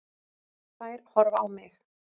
Þær horfa á mig.